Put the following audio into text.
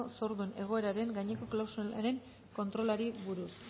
zordun egoeraren gaineko klausularen kontrolari buruz